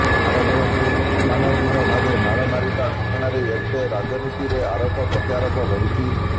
ଖାରବେଳଙ୍କୁ ଅମାନବୀୟ ଭାବେ ମାଡ ମାଡିବା ଘଟଣାରେ ଏବେ ରାଜନୀତିରେ ଆରୋପ ପ୍ରତ୍ୟାରୋପ ବଢ଼ୁଛି